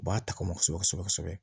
U b'a ta kɔnɔ kosɛbɛ kosɛbɛ kosɛbɛ